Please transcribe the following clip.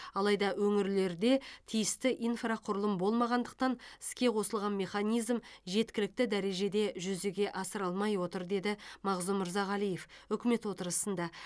алайда өңірлерде тиісті инфрақұрылым болмағандықтан іске қосылған механизм жеткілікті дәрежеде жүзеге асырылмай отыр деді мағзұм мырзағалиев үкімет отырысында